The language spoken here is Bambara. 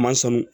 Ma sɔn